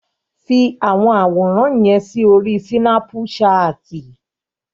Fi àwọn àwòràn yẹn sí orí Sínápùṣaàtì!